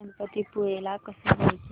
गणपतीपुळे ला कसं जायचं